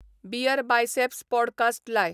BeerBiceps podcast लाय